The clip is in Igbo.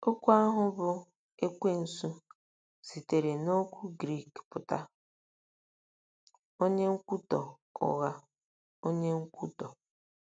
Okwu ahụ bụ́ “Ekwensu” sitere n’okwu Grik pụtara “ onye nkwutọ ụgha ,”“ onye nkwutọ.